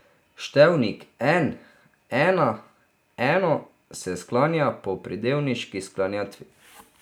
Števnik en, ena, eno se sklanja po pridevniški sklanjatvi.